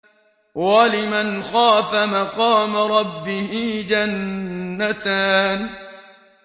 وَلِمَنْ خَافَ مَقَامَ رَبِّهِ جَنَّتَانِ